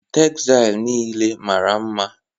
Tegzail nile mara mma